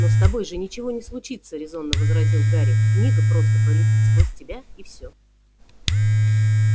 но с тобой же ничего не случится резонно возразил гарри книга просто пролетит сквозь тебя и всё